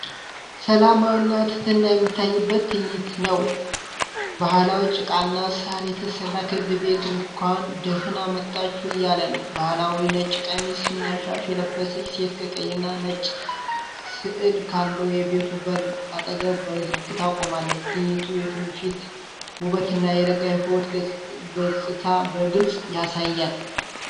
ሰላምና ትሕትና የሚታይበት ትዕይንት ነው! ባህላዊ ጭቃና ሳር የተሰራ ክብ ቤት እንኳን ደህና መጣችሁ እያለ ነው። ባህላዊ ነጭ ቀሚስና ሻሽ የለበሰች ሴት ከቀይና ነጭ ሥዕል ካለው የቤቱ በር አጠገብ በዝግታ ቆማለች። ትዕይንቱ የትውፊትን ውበትና የረጋ ሕይወት ገጽታንበግልጽ ያሳያል።